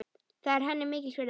Það er henni mikils virði.